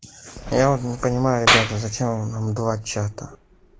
я вот не понимаю ребята зачем нам два чата